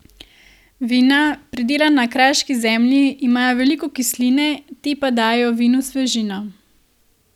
Vina, pridelana na kraški zemlji, imajo veliko kisline, te pa dajejo vinu svežino.